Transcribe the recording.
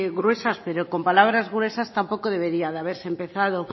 gruesas pero con palabras gruesas tampoco debería de haberse empezado